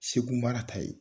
Segu mara ta ye.